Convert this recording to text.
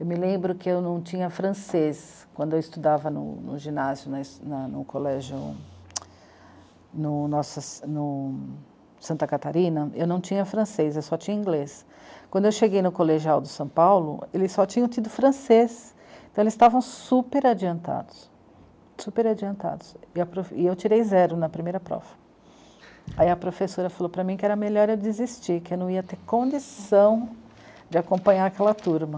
eu me lembro que eu não tinha francês quando eu estudava no ginásio, na, no, no, no colégio no Santa Catarina eu não tinha francês, eu só tinha inglês quando eu cheguei no colegial de São Paulo, eles só tinham tido francês então eles estavam super adiantados super adiantados e eu tirei zero na primeira prova aí a professora falou para mim que era melhor eu desistir que eu não ia ter condição de acompanhar aquela turma